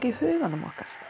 í huganum okkar